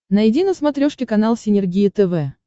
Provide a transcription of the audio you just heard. найди на смотрешке канал синергия тв